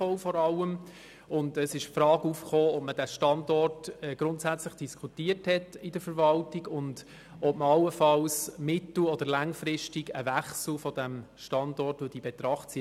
Es tauchte die Frage auf, ob man den Standort seitens der Verwaltung grundsätzlich diskutiert hat, und ob man allenfalls mittel- oder langfristig einen Wechsel des Standorts in Betracht zieht.